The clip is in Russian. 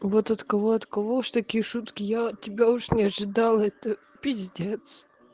вот от кого от кого уж такие шутки я от тебя уж не ожидал это пиздец